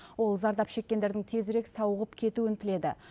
ол зардап шеккендердің тезірек сауығып кетуін тіледі